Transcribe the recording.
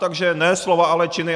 Takže ne slova, ale činy.